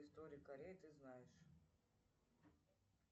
истории кореи ты знаешь